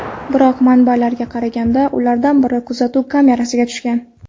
Biroq, manbalarga qaraganda, ulardan biri kuzatuv kamerasiga tushgan.